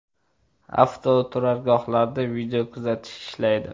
Avtoturargohlarda video kuzatish ishlaydi.